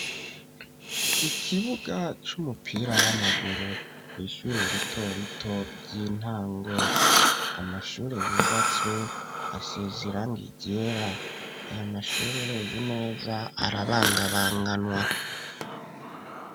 Ikibuga c'umupira w'amaguru. Kw'ishure ritorito ry'intango amashure yubatswe asize iranga ryera, aya mashure urevye neza arabangabanganwa .